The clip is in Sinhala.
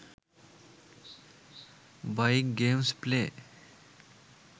bike games play